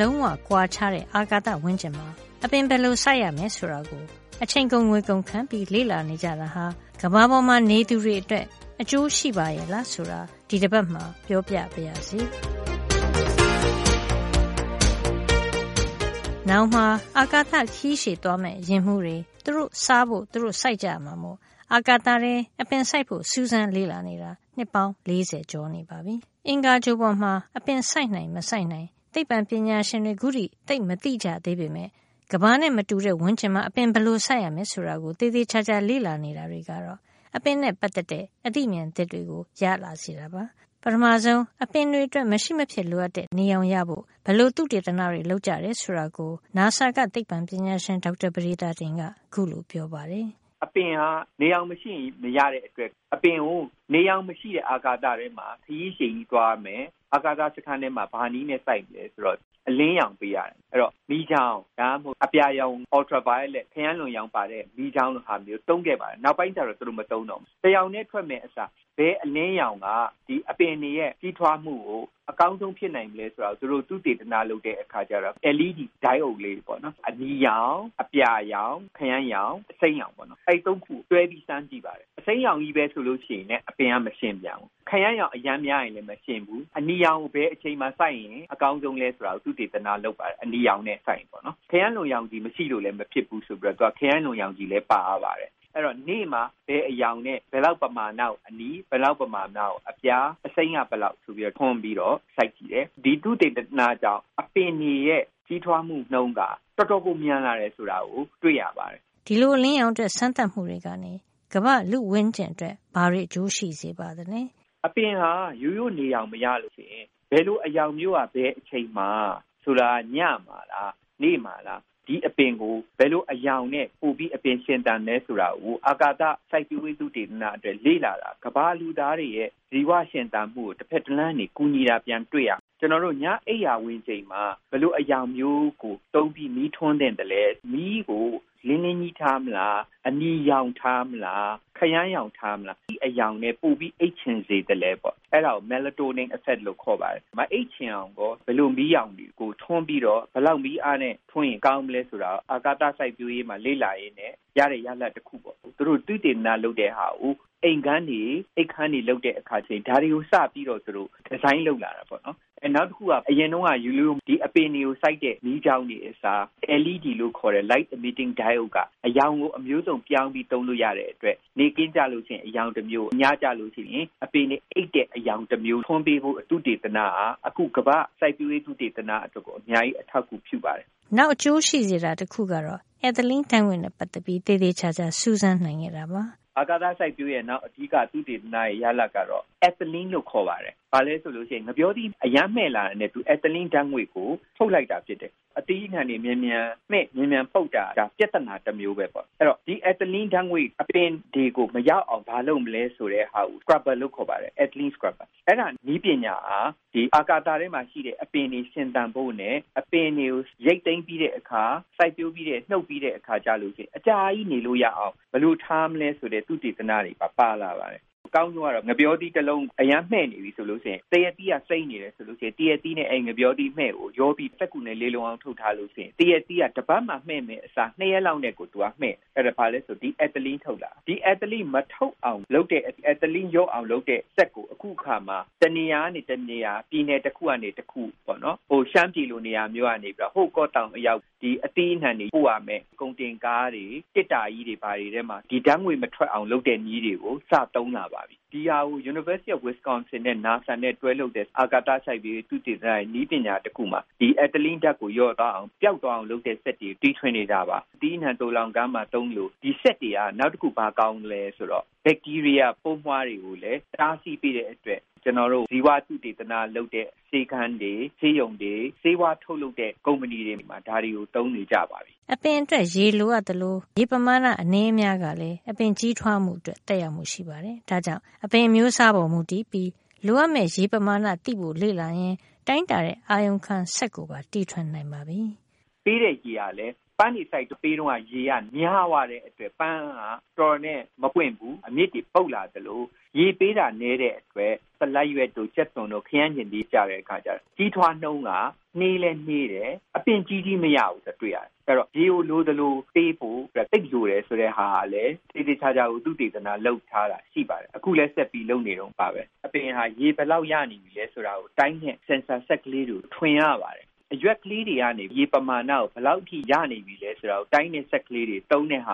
လုံးဝ ကွာခြားတဲ့ အာကာသဝန်းကျင်မှာ အပင်ဘယ်လိုစိုက်ရမယ် ဆိုတာကို အချိန်ကုန် ငွေကုန်ခံပြီး လေ့လာနေကြတာဟာ ကမ္ဘာပေါ်မှာ နေသူတွေအတွက် အကျိုးရှိပါရဲ့လား ဆိုတာ ဒီတပတ်မှာပြောပြပါရစေ။ နောင်မှာ အာကာသခရီး ရှည်သွားမယ့် ယာဉ်မှူးတွေ သူတို့စားဖို့ သူတို့ စိုက်ကြရမှာမို့ အာကာသထဲ အပင်စိုက်ဖို့ စူးစမ်းလေ့လာနေတာ နှစ်ပေါင်း ၄၀ ကျော်နေပါပြီ။ အင်္ဂါဂြိုဟ်ပေါ်မှာ အပင်စိုက်နိုင်မစိုက်နိုင် သိပ္ပံပညာရှင်တွေ ခုထိသိပ်မသိကြသေးပေမယ့် ကမ္ဘာနဲ့ အခြေနေလုံးဝ ကွာခြားတဲ့ဝန်းကျင်မှာ အပင်ဘယ်လိုစိုက်ရမယ် ဆိုတာကို သေသေချာချာ လေ့လာနေတာတွေကတော့ အပင်နဲ့ ပတ်သက်တဲ့ အသိမြင်သစ်တွေကို ရလာစေတာပါ။ ပထမဆုံး အပင်အတွက် မရှိမဖြစ်လိုအပ်တဲ့ နေရောင်ရဖို့ ဘယ်လိုသုတေသနတွေ လုပ်ကြတယ် ဆိုတာကို အမေရိကန်အာကာသစူးစမ်းရေးအဖွဲ့ NASA က သိပ္ပံပညာရှင် ဒေါက်တာပဒေသာတင်က ခုလိုပြောပါတယ်။ “အပင်ဟာ နေရောင်မရှိရင် မရတဲ့အတွက် နေရောင် မရှိတဲ့ အာကာသထဲမှာ ခရီးရှည်သွားရမယ်၊ အာကာသစခန်းထဲမှာ စိုက်မယ်ဆိုရင် ဘယ် နည်းနဲ့ စိုက်မလဲ ဆိုတော့၊ အလင်းရောင် ပေးရတယ်။ ဒီအလင်းရောင်က မီးချောင်း၊ ultraviolet ခရမ်းလွန်ရောင်ပါတဲ့ မီးချောင်းလိုဟာမျိုးတွေ သုံးခဲ့ပါတယ်။ ဒါပေမယ့် နောက်ပိုင်းမှာ မသုံးတော့ပါဘူး။ အလင်းရောင်ကို တရောင်တည်း ပေးမယ့်အစား ဘယ်အလင်းရောင်က အပင်တွေရဲ့ ကြီးထွားမှုကို အကောင်းဆုံး ဖြစ်နိုင်မလဲဆိုတာကို သုတေသနလုပ်တဲ့အခါ LED diode လေးတွေပေါ့နော်။ အနီရောင်၊ အပြာရောင်၊ ခရမ်းရောင်၊ အစိမ်းရောင်ပေါ့နော်။ အဲဒီ ၃ ခုကို တွဲပြီး စမ်းကြည့်ပါတယ်။ အစိမ်းရောင်ချည်းပဲဆိုရင်လည်း အပင်က မရှင်ဘူး။ ခရမ်းရောင် အရမ်းများလည်း မရှင်ဘူး။ အနီရောင်ကို ဘယ်အချိန်မှာစိုက်ရင် အကောင်းဆုံးလဲ ဆိုတာကို သုတေသနလုပ်ပါတယ်။ ခရမ်းလွန်ရောင်မပါလို့လည်း မဖြစ်ဘူးဆိုတော့ သူက ခရမ်းလွန်ရောင်လည်း ပါရပါတယ်။ အဲဒီတော့ နေ့မှာ ဘယ်အရောင်နဲ့ ဘယ်လောက်ပမာဏကို အနီ၊ ဘယ်လောက် ပမာဏကို အပြာ၊ အစိမ်းက ဘယ်လောက် ဆိုပြီး ထွန်းပြီးတော့ စိုက်ကြည့်တယ်။ ဒီသုတေသနကြောင့် အပင်တွေရဲ့ ကြီးထွားမှု နှုန်းက တော်တော်ကို မြန်လာတယ် ဆိုတာတွေ့ရပါတယ်။” ဒီလို အလင်းရောင်အတွက် စမ်းသပ်မှုတွေကနေ ကမ္ဘာ့လူ့ဝန်းကျင်အတွက် ဘာတွေ အကျိုးရှိစေပါသလဲ။ အပင်ဟာ ရိုးရိုး နေရောင်မရလို့ရှိရင် ဘယ်လို အရောင် မျိုးက ဘယ်အချိန်မှာ - ဆိုလိုတာက ညမှာလား၊ နေ့မှာလား၊ ဒီအပင်ဟာ ဘယ်လို အရောင်နဲ့ ပိုပြီး အပင်ရှင်သန်သလဲ ဆိုတာကို အာကာသစိုက်ပျိုးရေး သုတေသန အတွက် လေ့လာတာဟာ ကမ္ဘာလူသားတွေရဲ့ ဇီဝရှင်သန်မှုကို တဖက်တလမ်းကနေ ကူညီနေတာကို ပြန်တွေ့ရမှာပါ။ ကျွန်တော်တို့ ညအချိန် အိပ်ရာဝင်ချိန်မှာ ဘယ်လိုအရောင်မျိုးကို သုံးပြီး မီးထွန်းသင့် သလဲ၊ မီးကို လင်းလင်းကြီးထားမလား၊ အနီရောင် ထားမလား၊ ခရမ်းရောင်ထားမလား၊ ဘယ်အရောင်နဲ့ ပိုပြီးအိပ်ချင် စေသလဲ၊ အဲဒါကို Melatonin effect လို့ခေါ်ပါတယ်။ မအိပ်ချင်အောင်ကော ဘယ်လို မီးအရောင်ကို ဘယ်လောက် မီးအားနဲ့ထွန်းရင် ကောင်း မလဲဆိုတာကို အာကာသစိုက်ပျိုးရေးမှာ လေ့လာရင်းနဲ့ရတဲ့ ရလဒ်တခု ဖြစ်ပါတယ်။ အခုလို သုတေသနလုပ်ခဲ့တာကို အိမ်ခန်းတွေဆောက်တဲ့အခါ ဒါတွေကို စပြီး ဒီဇိုင်းလုပ် သုံးလာကြပါပြီ။ နောက်တခုက အပင်တွေကိုစိုက်တဲ့ ရိုးရိုးမီးချောင်းတွေအစား LED လို့ခေါ်တဲ့ light emitting diode က အရောင်ကို အမျိုးစုံပြောင်းပြီး သုံးလို့ရတဲ့အတွက် နေ့ခင်းမှာ အရောင်တမျိုး၊ ညကျရင် အပင်တွေအိပ်တဲ့ အရောင်တမျိုး ထွန်းပေးဖို့ သုတေသနဟာ အခု ကမ္ဘာ့စိုက်ပျိုးရေးသုတေသန အတွက် အများကြီး အထောက်အကူပြု စေပါတယ်။” နောက်အကျိုးရှိစေတာ တခုကတော့ Ethylene ဓါတ်ငွေ့နဲ့ပတ်သက်ပြီး သေသေချာချာ စူးစမ်းနိုင်ခဲ့တာပါ။ အာကာသစိုက်ပျိုးရေးရဲ့ နောက်သုတေသနရဲ့ အဓိက ရတဲ့ ရလဒ်ကတော့ အက်သလင်းလို့ ခေါ်ပါတယ်။ ဒါက ဘာလဲဆိုရင် ဥပမာ ငှက်ပျောသီး အရမ်းမှည့်လာတာနဲ့ အက်သလင်း ဓါတ်ငွေ့ကို ထုတ်လိုက်တာဖြစ်တယ်။ အသီး အနှံ တွေ မြန်မြန်မှည့်၊ မြန်မြန်ပုပ်တာဟာ ပြဿနာတမျိုးပဲပေါ့။ ဆိုတော့ ဒီ အက်သလင်း ဓါတ်ငွေ့ အပင်တွေကို မရောက်အောင် ဘာလုပ်မလဲ ဆိုတဲ့နည်းပညာဟာ ဒီ အာကာသ ထဲမှာရှိတဲ့ အပင်တွေ ရှင်သန်ဖို့နဲ့ အပင်တွေကို ရိတ်သိမ်းပြီးတဲ့အခါ၊ စိုက်ပျိုးပြီး နှုတ်ပြီး တဲ့အခါ အကြာကြီး ထားလို့ရအောင် ဘယ်လိုထားမလဲ ဆိုတဲ့ သုတေသနတွေပါ ပါလာ တယ်။ အကောင်းဆုံးကတော့ ငှက်ပျောသီး တလုံးဟာ အရမ်းမှည့်နေပြီး သရက်သီးက အရမ်းစိမ်းနေရင် အဲဒီမှည့်နေတဲ့ ငှက်ပျောသီးနဲ့ သရက်သီးကိုရောပြီး စက္ကူနဲ့ လေလုံ အောင် ထုတ်ထားလို့ရှိရင် သရက်သီးဟာ တပတ်မှာ မှည့်မယ့်အစား ၂ ရက်လောက်နဲ့ ကို သူက မှည့်တယ်။ ဒါဟာ ဘာလဲဆိုတော့ သူက အက်သလင်းထုတ်တာ။ အဲဒီတော့ ဒီအက်သလင်း မထုတ်အောင် လုပ်တဲ့၊ အက်သလင်းလျော့အာင်လုပ်တဲ့ စက်ကို အခုအခါမှာ တနေရာကနေ တနေရာ၊ ပြည်နယ်တခုကနေ တခု ဥပမာ ရှမ်းပြည်လို နေရာကနေ ဟိုး ကော့သောင်အရောက် အသီးအနှံတွေ ပို့ရမယ့် ကုန်တင် ကားတွေ၊ သေတ္တာကြီးတွေထဲမှာ ဒီဓါတ်ငွေ့မထွက်အောင် လုပ်တဲ့နည်းတွေကို စသုံး လာပါပြီ။ ဒီဟာကို Wisconsin တက္ကသိုလ်နဲ့ နာဆာနဲ့တွဲလုပ်တဲ့ အာကာသ စိုက်ပျိုးရေး သုတေသနရဲ့ နည်းပညာတခုမှာ ဒီအက်သလင်းဓါတ်ကို လျော့သွားအောင်၊ ပျောက်သွား အောင်လုပ်တဲ့ စက်တွေကို တီထွင်နေတာပါ။ အသီးအနှံ သိုလှောင်ခန်းမှာသုံးသလို ဒီစက်တွေက နောက်တခု ဘာကောင်းသလဲဆိုတော့ ဘက်တီးရီးယားပိုးမွှားတွေ ကိုလည်း တားဆီးပေးတဲ့အတွက် ကျွန်တော်တို့ ဇီဝသုတေသနလုပ်တဲ့ ဆေးခန်းတွေ၊ ဆေးရုံတွေ၊ ဆေးဝါးထုတ်လုပ်တဲ့ ကုမ္ပဏီတွေမှာ ဒါတွေကို သုံးနေကြပါပြီ။” အပင်အတွက် ရေလိုအပ်သလို အပင်ရရှိတဲ့ ရေပမာဏ အနည်းအများကလည်း အပင်ကြီး ထွားမှုအတွက် သက်ရောက်မှု ရှိနေတာပါ။ ဒါ့ကြောင့် အပင်အမျိုးစားပေါ်မူတည်ပြီး လိုအပ် မယ့် ရေပမာဏကိုသိဖို့အပြင် ရေပမာဏဘယ်လောက် ရနေပြီလဲဆိုတာကိုတိုင်းတဲ့ အာရုံ ခံစက် sensor ကိုလည်း တီထွင်နိုင်ပါပြီ။ ပေးတဲ့ရေဟာ ပန်းတွေစိုက်တုန်း ရေပမာဏများသွားရင် ပန်းဟာတော်တော်နဲ့ မပွင့်ဘဲ အမြစ်တွေ ပုပ်လာသလို ရေပေးတာနည်းသွားရင်လည်း ဆလပ်ရွက်တို့ ကြက်သွန်တို့၊ ခရမ်းချဉ်သီးတို့ကျတော့ ကြီးထွားနှုန်းက နှေးလည်း နှေးတယ်။ အပင်ကြီးကြီးမရဘူး ဆိုတာတွေ့ရတယ်။ အဲဒီတော့ ရေကိုလိုသလိုပေးဖို့ လိုအပ်တယ် ဆိုတာကို သေသေချာချာ သုတေသန လုပ်ထားတာ ရှိပါတယ်။ အခုလည်း ဆက်ပြီးလုပ်နေတုန်းပါပဲ။ အပင်ဟာ ရေဘယ်လောက်ရနေပြီလဲဆိုတာကို တိုင်းတဲ့ ဆင်ဆာစက်ကလေးတွေ ထွင်ရပါတယ်။ အရွက်ကလေးတွေကနေ ရေပမာဏကို ဘယ်လောက်အထိ ရနေပြီလဲ ဆိုတာကို တိုင်းတဲ့စက်တွေ သုံးတာက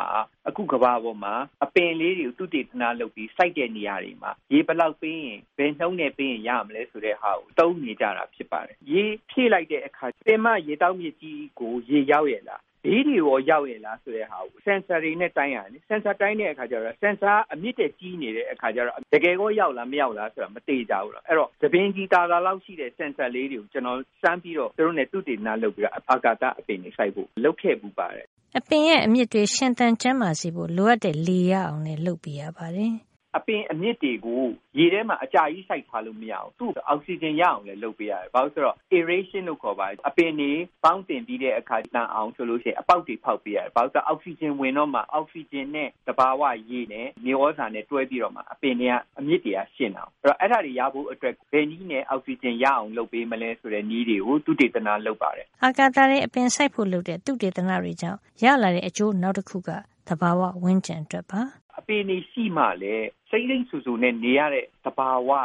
အခုကမ္ဘာပေါ်မှာ အပင်ကလေးတွေ သုတေသန လုပ်ပြီး စိုက်တဲ့အခါ ရေဘယ်လောက် ပေးရင်၊ ဘယ်နှုန်းနဲ့ပေးရင် ရမလဲ ဆိုတာ သိရ အောင် သုံးနေကြပါပြီ။ ရေဖြည့်လိုက်တဲ့အခါ ပင်မရေသောက်မြစ်ကြီးကို ရေရောက်ရဲ့ လား၊ ဘေးတွေကိုရော ရောက်ရဲ့လား ဆိုတာကို sensor တွေနဲ့ တိုင်းရတယ်။ အဲဒီလို တိုင်းတဲ့အခါကျတော့ sensor က အမြစ်ထက် ကြီးနေရင် တကယ်ရောက်မရောက် မသေချာပါဘူး။ အဲဒီတော့ ဆံပင်ခြည်သာသာလောက် ရှိတဲ့ sensor လေးတွေကို ကျွန်တော်စမ်းပြီး သူတို့နဲ့ အာကာသအပင်တွေစိုက်ဖို့ သုတေသန လုပ်ခဲ့ပါတယ်။” အပင်ရဲ့အမြစ်တွေ ရှင်သန်ကျန်းမာစေဖို့ လိုအပ်တဲ့ လေရအောင်လည်း လုပ်ပေးရ ပါတယ်။ အပင်အမြစ်တွေကို ရေထဲမှာ အကြာကြီးစိုက်ထားလို့ မရဘူူး။ သူ့ကို အောက်ဆီဂျင်ရအောင်လည်း လုပ်ပေးရတယ်။ aeration လို့ခေါ်ပါတယ်။ အပင်တွေ ပေါင်းသင်ပြီးတဲ့အခါ အပင်သန်အောင်ဆိုပြီး အပေါက်တွေ ဖေါက်ပေးရ တယ်။ ဘာလို့လဲဆိုတော့ သူက အောက်ဆီဂျင်ဝင်တော့မှ အောက်ဆီဂျင်နဲ့ သဘာဝရေနဲ့ မြေသြဇာနဲ့ တွဲပြီးတော့မှ အပင်တွေရဲ့အမြစ်တွေက ရှင်သန်တာကိုး။ ဆိုတော့အဲဒါတွေ ရဖို့အတွက်ကို ဘယ်နည်းနဲ့ အောက်ဆီဂျင်ရအောင် လုပ်မလဲ။ ပေးမလဲဆိုတဲ့ နည်းတွေ ကို သုတေသနလုပ်ပါတယ်။” အာကာသထဲ အပင်စိုက်ဖို့လုပ်တဲ့ သုတေသနတွေကြောင့် ရလာတဲ့အကျိုးနောက်တခုက သဘာဝဝန်းကျင်အတွက်ပါ။ အပင်တွေရှိမှလည်း စိမ်းစိမ်းစိုစိုနဲ့နေလို့ရတဲ့ သဘာဝဟာ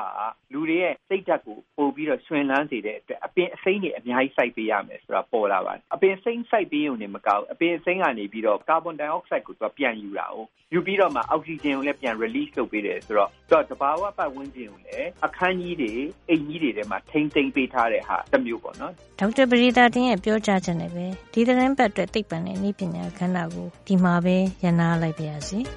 လူတွေရဲ့ စိတ်ဓါတ်ကို ပိုပြီးတော့ ရွှင်လန်းစေတဲ့အတွက် အပင်အစိမ်းတွေ အများကြီး စိုက်ပေးရမယ်ဆိုတာ သိလာရပါတယ်။ အပင်အစိမ်းစိုက်ပေးရုံတင်မကဘူး၊ အပင်အစိမ်း ကနေပြီးတော့ သူက ကာဗွန်ဒိုင်အောက်ဆိုက်ကို ပြန်ယူတာ။ ယူပြီးတော့မှ သူက အောက်ဆီဂျင်ကို ပြန်ထုတ်ပေးတယ်ဆိုတော့ သူက သဘာဝပတ်ဝန်းကျင်ကို အခန်းကြီး တွေ၊ အိမ်ကြီးတွေမှာ ထိန်းသိမ်းပေးထားတဲ့ သဘောတမျိုးပေါ့။ ဒေါက်တာပဒေသာတင်ရဲ့ ပြောကြားချက်နဲ့ပဲ ဒီသီတင်းပါတ်အတွက် သိပ္ပံနဲ့နည်းပညာကဏ္ဍ ကို ဒီမှာပဲ ရပ်နားလိုက်ပါရစေ။